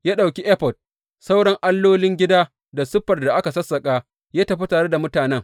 Ya ɗauki efod, sauran allolin gida da siffar da aka sassaƙa ya tafi tare da mutanen.